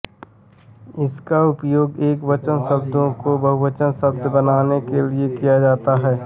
इसका उपयोग एक वचन शब्दों को बहुवचन शब्द बनाने के लिए किया जाता है